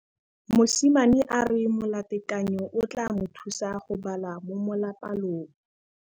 Mosimane a re molatekanyô o tla mo thusa go bala mo molapalong.